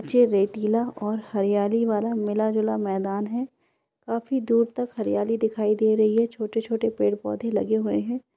ये रेतीला और हरयाली वाला मिला जुला मैदान हैकाफी दूर तक हरयाली दिखाई दे रही है छोटे-छोटे पेड़-पौधे लगे हुए है।